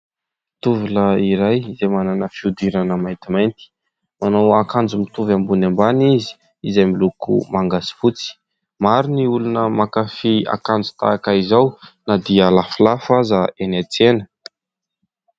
Tovolahy iray izay manana fihodirana maintimainty, manao akanjo mitovy ambony ambany izy izay miloko manga sy fotsy. Maro ny olona mankafy akanjo tahaka izao na dia lafolafo aza eny an-tsena.